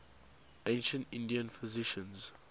ancient indian physicians